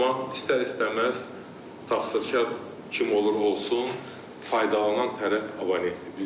Amma istər-istəməz taxsilkar kim olur olsun, faydalanan tərəf abonentdir.